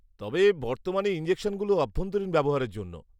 তবে, বর্তমানে ইনজেকশনগুলো অভ্যন্তরীণ ব্যবহারের জন্য।